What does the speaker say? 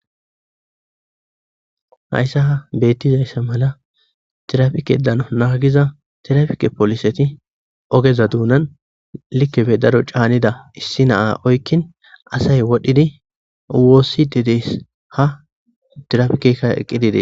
hayssa ha beettizayssa mala tirafike dano naagiza tirafike poliseti ogeza duunan likefe daro caanida issi naa oykkin asay wodhdhidi woossi dedes ha tirafikekka eqqi dide